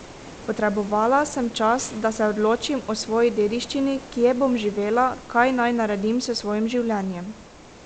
Potrebovala sem čas, da se odločim o svoji dediščini, kje bom živela, kaj naj naredim s svojim življenjem.